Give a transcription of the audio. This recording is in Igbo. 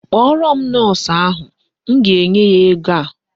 Kpọrọ m Nọọsụ ahụ. M ga-enye ya ego a.